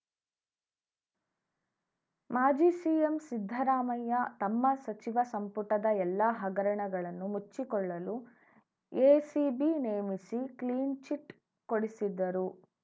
ಮಾಜಿ ಸಿಎಂ ಸಿದ್ದರಾಮಯ್ಯ ತಮ್ಮ ಸಚಿವ ಸಂಪುಟದ ಎಲ್ಲ ಹಗರಣಗಳನ್ನು ಮುಚ್ಚಿಕೊಳ್ಳಲು ಎಸಿಬಿ ನೇಮಿಸಿ ಕ್ಲೀನ್‌ಚಿಟ್‌ ಕೊಡಿಸಿದ್ದರು